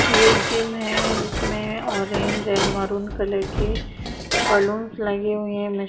ये एक जिम है जिसमे ऑरेंज एंड मरून कलर के बलून्स लगे हुए हैं। --